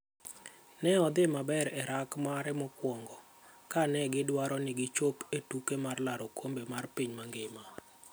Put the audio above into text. Ne odhi maber e orak mare mokwongo, kane gidwaro ni gichop e tuke mar laro okombe mar piny mangima.